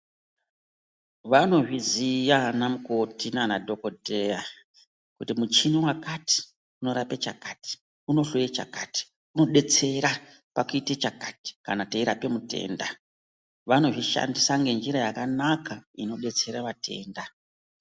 Vanozviziya ana mukoti naanadhokoteya, kuti muchini wakati unorape chakati, unohloye chakati, unobetsera pakuite chakati kana teirape mutenda. Vanozvishandisa ngenjira yakanaka kubetsera vatenda.